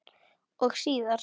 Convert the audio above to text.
Og síðar.